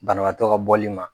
Banabagatɔ ka bɔli ma.